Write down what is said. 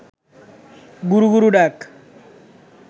গুরু গুরু ডাক